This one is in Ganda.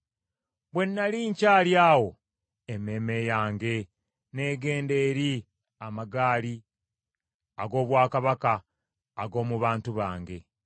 Bwe nnali nkyali awo emmeeme yange n’egenda eri amagaali ag’obwakabaka ag’omu bantu bange.